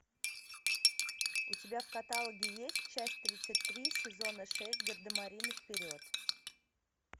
у тебя в каталоге есть часть тридцать три сезона шесть гардемарины вперед